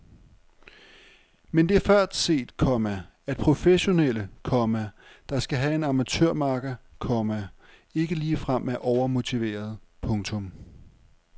Men det er før set, komma at professionelle, komma der skal have en amatørmakker, komma ikke ligefrem er overmotiverede. punktum